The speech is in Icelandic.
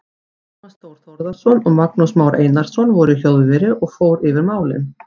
Tómas Þór Þórðarson og Magnús Már Einarsson voru í hljóðveri og fór yfir málin.